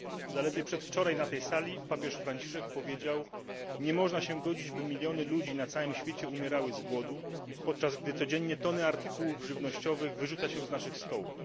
Zaledwie przedwczoraj na tej sali papież Franciszek powiedział Nie można się godzić, by miliony ludzi na całym świecie umierały z głodu, podczas gdy codziennie tony artykułów żywnościowych wyrzuca się z naszych stołów.